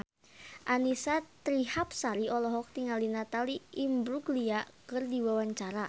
Annisa Trihapsari olohok ningali Natalie Imbruglia keur diwawancara